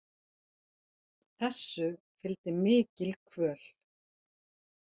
Þessu fylgdi mikil kvöl.